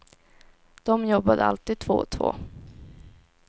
De jobbade alltid två och två.